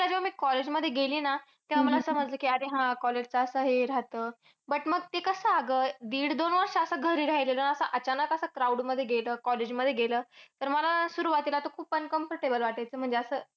जेव्हा मी college मध्ये गेली ना, तेव्हा मला समजलं की अरे college च असं हे राहतं. But मग ते कसं अगं, दीडदोन वर्ष घरी राह्यलेलो ना. असं अचानक असं crowd मध्ये गेलं, college मध्ये गेलं. तर मला सुरवातीला तर खूप uncomfortable वाटायचं म्हणजे असं